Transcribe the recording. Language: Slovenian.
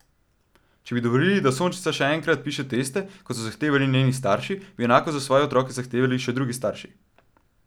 Če bi dovolili, da Sončnica še enkrat piše teste, kot so zahtevali njeni starši, bi enako za svoje otroke zahtevali še drugi starši.